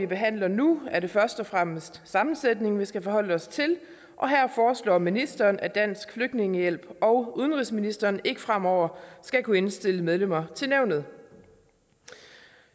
behandles nu er det først og fremmest sammensætningen vi skal forholde os til og her foreslår ministeren at dansk flygtningehjælp og udenrigsministeren ikke fremover skal kunne indstille medlemmer til nævnet